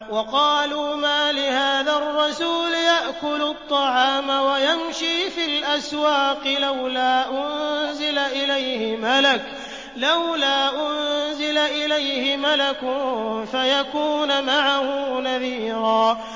وَقَالُوا مَالِ هَٰذَا الرَّسُولِ يَأْكُلُ الطَّعَامَ وَيَمْشِي فِي الْأَسْوَاقِ ۙ لَوْلَا أُنزِلَ إِلَيْهِ مَلَكٌ فَيَكُونَ مَعَهُ نَذِيرًا